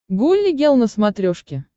гулли гел на смотрешке